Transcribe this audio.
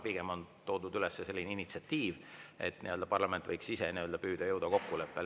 Pigem on toodud üles initsiatiiv, et parlament võiks ise püüda jõuda kokkuleppele.